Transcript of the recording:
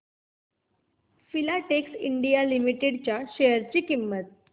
Filatex India limited च्या share ची किंमत